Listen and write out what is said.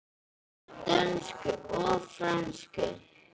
Ég tala dönsku og frönsku.